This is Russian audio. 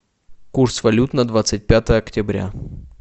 курс валют на двадцать пятое октября